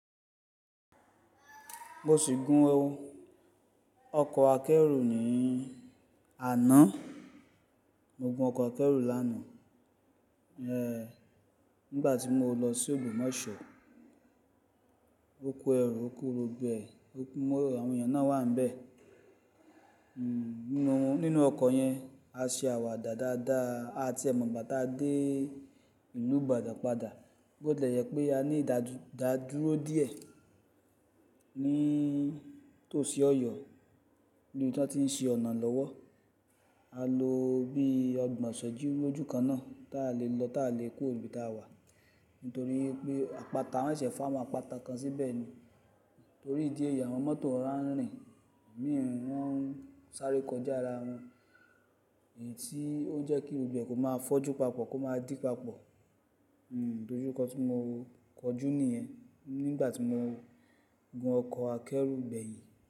Mo sì gun ọkọ̀ akẹ́rù ní àná. Mo gun ọkọ̀ akẹ́rù lánàá, ẹh, nígbà tí mo lọ sí Ogbomosọ. O ko ẹrù, ó kó gbogbo ẹ, àwọn èèyàn náà wà níbẹ̀. Hmm, nínú ọkọ̀ yẹn, a ṣe àwàdà dáadáa à tiẹ̀ mọ́gbà tà dé ìlú ìbàdàn padà. Bó tìlẹ̀ jẹ pé a ní ìdádúró díẹ̀ ní tòsí Ọ̀yọ́, níbi tí wọ́n ti ń ṣe ọ̀nà lọ́wọ́, a lo bí ọgbọn ìséjú lójúkan náà táa lè lọ táa lè kúrò níbi táa wà. Nítorí pé àpáta wọ́n ṣẹ̀ fó áwon àpáta kan síbẹ̀ ni. Torí ìdí èyí àwọn mọ́tò rora n rìn, imìí wón sáré kọjá ara wọn. Èyí tí ó jẹ́ kí gbogbo ẹ̀ kò má fójú papọ̀, kò má dí papọ̀. Hmm, ìdójúko tí mo kọjú nìyẹn, nígbà tí mo gun ọkọ̀ akẹ́rù gbẹ̀yìn.